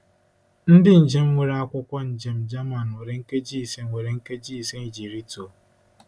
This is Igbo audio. Ndị njem nwere akwụkwọ njem German nwere nkeji ise nwere nkeji ise iji rịtuo.